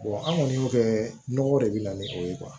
an kɔni y'o kɛ nɔgɔ de bɛ na ni o ye